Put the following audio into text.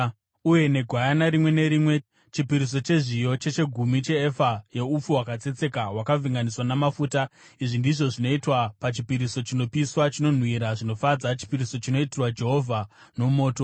uye negwayana rimwe nerimwe, chipiriso chezviyo chechegumi cheefa yeupfu hwakatsetseka, hwakavhenganiswa namafuta. Izvi ndizvo zvinoitwa pachipiriso chinopiswa, chinonhuhwira zvinofadza, chipiriso chinoitirwa Jehovha nomoto.